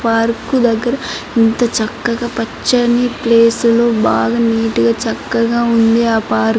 Park దగ్గర ఇంత చక్కగా పచ్చని ప్లేసు బాగా నీటుగా చక్కగా ఉంది ఆ పార్కు .